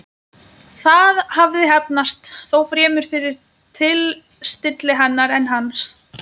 Það hafði heppnast, þó fremur fyrir tilstilli hennar en hans.